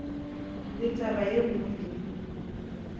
le taba ye nngwe le